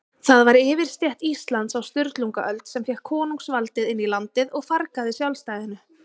Það var yfirstétt Íslands á Sturlungaöld, sem fékk konungsvaldið inn í landið og fargaði sjálfstæðinu.